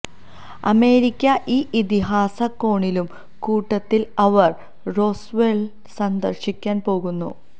America ഈ ഇതിഹാസ കോണിലും കൂട്ടത്തിൽ അവർ റോസ്വെള്ള് സന്ദർശിക്കാൻ പോകുന്നു